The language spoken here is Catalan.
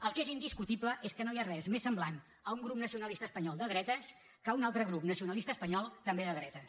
el que és indiscutible és que no hi ha res més semblant a un grup nacionalista espanyol de dretes que un altre grup nacionalista espanyol també de dretes